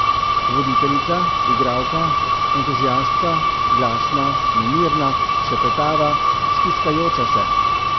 Voditeljica, igralka, entuziastka, glasna, nemirna, šepetava, stiskajoča se ...